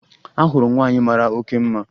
Ahụrụ m nwaanyị mara oke mma